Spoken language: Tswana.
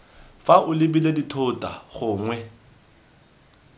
fa o lebile dithota gongwe